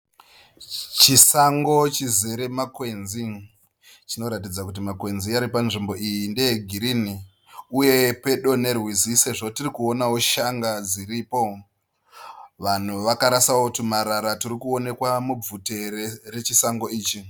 Chisango chizere makwenzi. Zvinoratidza kuti makwenzi ari panzvimbo iyi ndeegirini uye pedo nerwizi sezvo tiri kuona shanga dziripo. Vanhu vakarasawo twumarara twuri kuonekwa mubvute rechisango ichi.